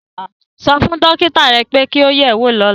Sọ fún dókítà rẹ pé kí o yẹ̀ ẹ́ wò lọ́la